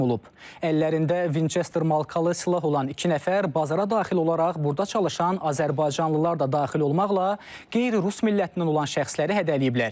Əllərində Vinçester markalı silah olan iki nəfər bazara daxil olaraq burda çalışan azərbaycanlılar da daxil olmaqla qeyri-rus millətinə olan şəxsləri hədələyiblər.